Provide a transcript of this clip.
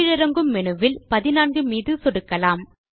கீழிறங்கும் மேனு வில் நாம் 14 மீது சொடுக்கலாம்